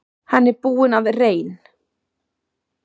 Hann er búinn að reyn